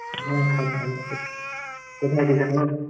হ্যাঁ সব ভালই আছে। কথায় আছিস এখন?